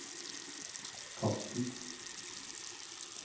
kast den